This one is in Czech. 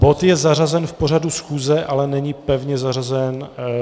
Bod je zařazen v pořadu schůze, ale není pevně zařazen.